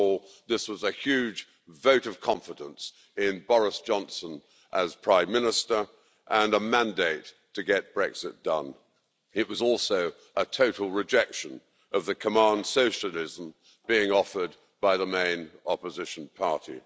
Above all, this was a huge vote of confidence in Boris Johnson as Prime Minister and a mandate to get Brexit done. It was also a total rejection of the command socialism being offered by the main opposition party.